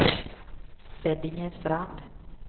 Beddingestrand